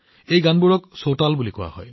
এই গানবোৰক চৌতাল বুলি কোৱা হয়